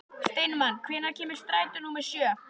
Steinmann, hvenær kemur strætó númer sjö?